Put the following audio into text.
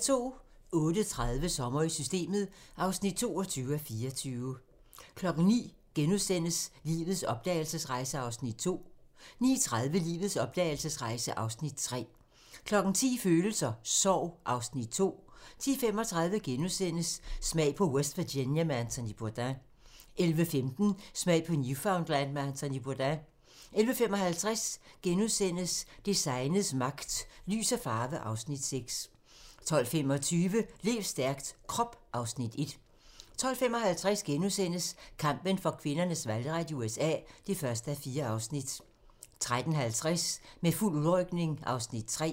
08:30: Sommer i Systemet (22:24) 09:00: Lives opdragelsesrejse (Afs. 2)* 09:30: Lives opdragelsesrejse (Afs. 3) 10:00: Følelser: Sorg (Afs. 2) 10:35: Smag på West Virginia med Anthony Bourdain * 11:15: Smag på Newfoundland med Anthony Bourdain 11:55: Designets magt - Lys og farve (Afs. 6)* 12:25: Lev stærkt - Krop (Afs. 1) 12:55: Kampen for kvinders valgret i USA (1:4)* 13:50: Med fuld udrykning (Afs. 3)